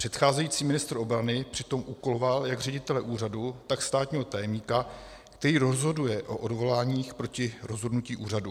Předcházející ministr obrany přitom úkoloval jak ředitele úřadu, tak státního tajemníka, který rozhoduje o odvoláních proti rozhodnutí úřadu.